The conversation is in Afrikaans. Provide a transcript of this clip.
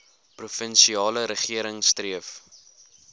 provinsiale regering streef